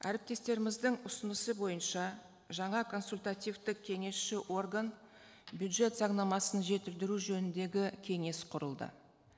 әріптестеріміздің ұсынысы бойынша жаңа консультативтік кеңесші орган бюджет заңнамасын жетілдіру жөніндегі кеңес құрылды